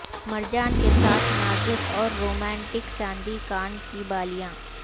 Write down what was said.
مرجان کے ساتھ نازک اور رومانٹک چاندی کان کی بالیاں